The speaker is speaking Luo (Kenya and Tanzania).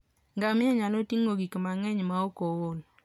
Ngamia nyalo ting'o gik mang'eny maok ool.